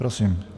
Prosím.